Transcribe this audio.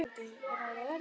Eru nokkrir lyklar hérna?